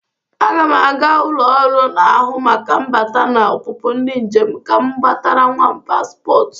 Aga m aga ụlọ ọrụ n'ahụ maka mbata na ọpụpụ ndị njem ka m gbatara nwam paspọt.